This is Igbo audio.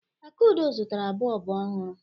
Akunna zụtara bọlbụ ọhụrụ.